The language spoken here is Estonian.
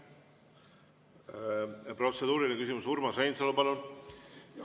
Protseduuriline küsimus, Urmas Reinsalu, palun!